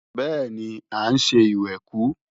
Bẹ́ẹ̀ni, à ń ṣe ìwẹ̀kú